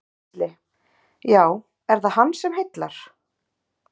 Gísli: Já, er það hann sem heillar?